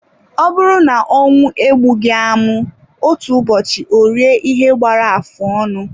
Ọ bụrụ na ọnwụ egbughị amụ, otu ụbọchị orie ihe gbara afụ ọnụ.